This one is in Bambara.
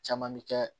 Caman bi kɛ